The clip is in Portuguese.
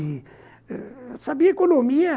Eu sabia economia.